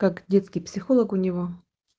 как детский психолог у него